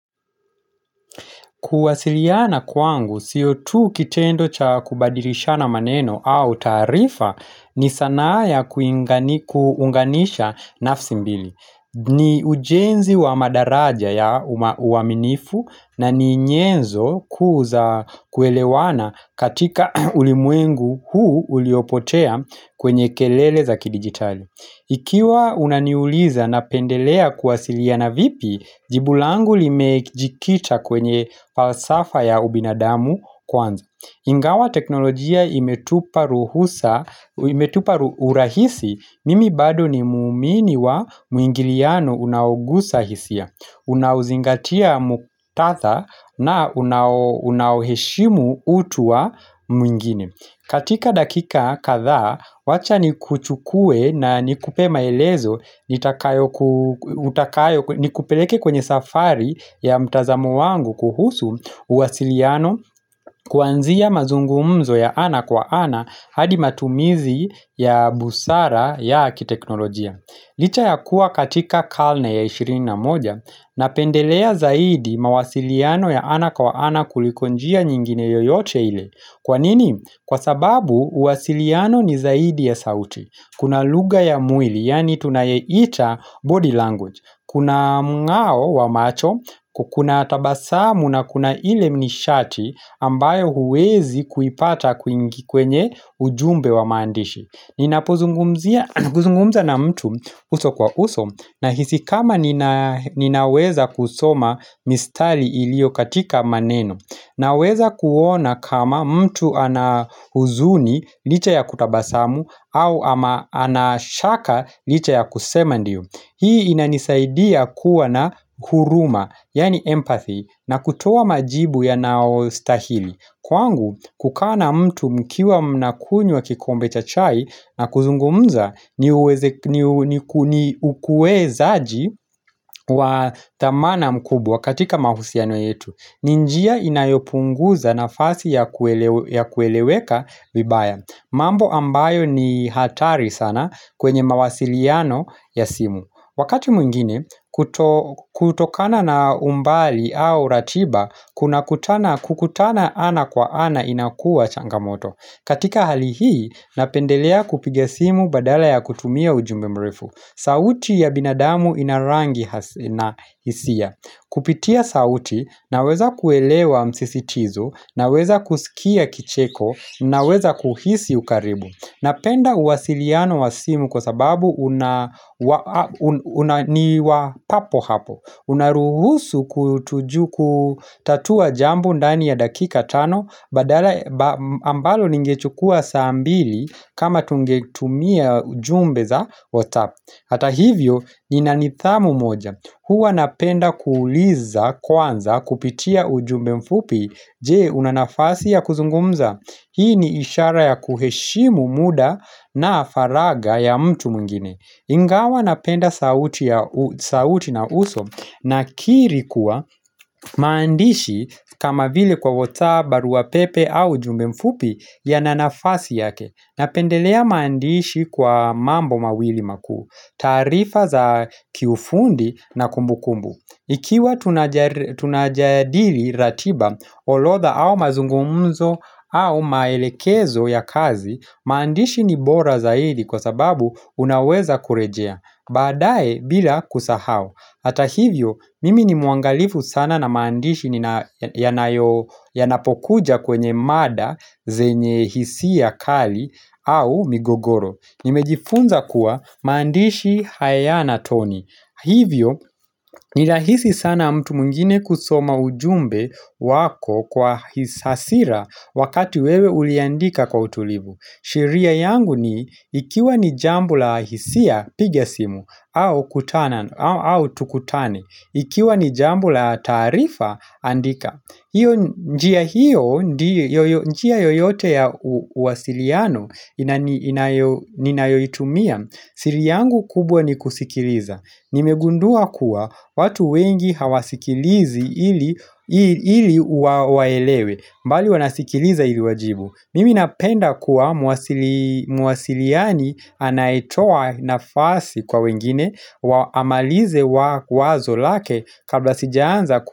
Kuwasiliana kwangu, sio tu kitendo cha kubadirisha na maneno au tarifa ni sanaya kuunganisha nafsi mbili. Ni ujenzi wa madaraja ya uaminifu na ni nyenzo kuza kuelewana katika ulimwengu huu uliopotea kwenye kelele za kidigitali. Ikiwa unaniuliza na pendelea kuwasilia na vipi, jibulangu limejikita kwenye falsafa ya ubinadamu kwanza Ingawa teknolojia imetupa urahisi, mimi bado ni muumini wa muingiliano unaogusa hisia. Unauzingatia muktadha na unaheshimu utu wa mwingine. Katika dakika kadha, wacha ni kuchukue na ni kupema elezo ni kupeleke kwenye safari ya mtazamo wangu kuhusu uwasiliano kuanzia mazungumzo ya ana kwa ana hadi matumizi ya busara ya akiteknolojia. Licha ya kuwa katika kalna ya 21 na pendelea zaidi mawasiliano ya ana kawa ana kulikonjia nyingine yoyote ile Kwanini? Kwa sababu uwasiliano ni zaidi ya sauti Kuna luga ya mwili, yani tunayeita body language Kuna mngao wa macho, kukuna atabasamu na kuna ile mnishati ambayo huwezi kuipata kuingikwenye ujumbe wa mandishi Ninapozungumza na mtu uso kwa uso na hisi kama ninaweza kusoma mistali ilio katika maneno Naweza kuona kama mtu anahuzuni licha ya kutabasamu au ama anashaka licha ya kusema ndiyo Hii inanisaidia kuwa na huruma yani empathy na kutowa majibu ya nao stahili Kwangu kukana mtu mkiwa mnakunywa kikombe cha chai na kuzungumza ni ukue zaaji wa tamana mkubwa katika mahusiano yetu ninjia inayopunguza na fasi ya kueleweka vibaya mambo ambayo ni hatari sana kwenye mawasiliano ya simu Wakati mwingine, kutokana na umbali au ratiba, kukutana ana kwa ana inakua changamoto. Katika hali hii, napendelea kupiga simu badala ya kutumia ujumbe mrefu. Sauti ya binadamu inarangi na isia. Kupitia sauti, naweza kuelewa msisitizo, naweza kusikia kicheko, naweza kuhisi ukaribu. Napenda uwasiliano wa simu kwa sababu unaniwa papo hapo Unaruhusu kutuju kutatua jambo ndani ya dakika tano Badala ambalo ningechukua saambili kama tungetumia jumbe za whatsapp Hata hivyo inanithamu moja Hua napenda kuuliza kwanza kupitia ujumbe mfupi Je unanafasi ya kuzungumza Hii ni ishara ya kuheshimu muda na faraga ya mtu mungine Ingawa napenda sauti na uso na kiri kuwa maandishi kama vile kwa whatsapp barua pepe au ujumbe mfupi ya nanafasi yake Napendelea maandishi kwa mambo mawili makuu tarifa za kiufundi na kumbu kumbu Ikiwa tunajadili ratiba olodha au mazungumuzo au maelekezo ya kazi, maandishi ni bora zaidi kwa sababu unaweza kurejea. Badae bila kusahau. Hata hivyo, mimi ni muangalifu sana na maandishi ni yanapokuja kwenye mada, zenye hisi ya kali au migogoro. Nimejifunza kuwa maandishi hayana toni. Hivyo, nilahisi sana mtu mungine kusoma ujumbe wako kwa hisasira wakati wewe uliandika kwa utulivu. Sheria yangu ni, ikiwa ni jambo la hisia pigia simu, au tukutane, ikiwa ni jambo la tarifa, andika. Njia yoyote ya uwasiliano inayoitumia siri yangu kubwa ni kusikiliza Nimegundua kuwa watu wengi hawasikilizi ili uwaelewe mbali wanasikiliza ili wajibu Mimi napenda kuwa muwasiliani anaetoa nafasi kwa wengine Waamalize wazo lake kabla sijaanza kuwa.